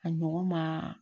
A ɲɔgɔn maa